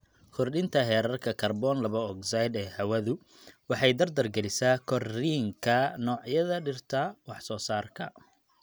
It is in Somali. Kordhinta heerarka kaarboon laba ogsaydh ee hawadu waxay dardar gelisaa korriinka noocyada dhirta wax-soo-saarka.